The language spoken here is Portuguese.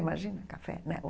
Imagina café, né?